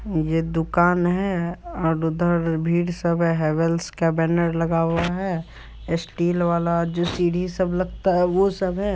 ये दुकान है और उधर भीड़ सब है हैवेल्स का बैनर लगा हुआ है स्टील वाला जो सीढ़ी सब लगता है वो सब है।